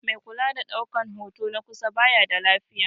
Mai kula da daukan hoto na kusa baya da lafiya yau